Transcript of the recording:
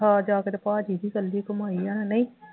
ਹਾਂ ਜਾ ਕੇ ਤਾਂ ਭਾਅ ਜੀ ਦੀ ਇਕੱਲੀ ਕਮਾਈ ਆ ਨਹੀਂ